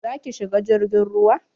Za ki shiga jirgin ruwa?